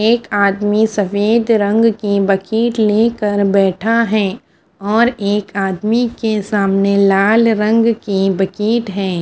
एक आदमी सफेद रंग की बकीट लेकर बैठा है और एक आदमी के सामने लाल रंग की बकीट है।